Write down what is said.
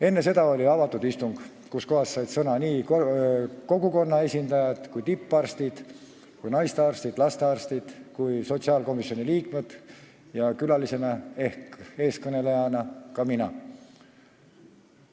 Enne seda oli avatud istung, kus said sõna kogukonna esindajad, tipparstid, naistearstid, lastearstid ja ka sotsiaalkomisjoni liikmed ning külalisena ehk eestkõnelejana ka mina.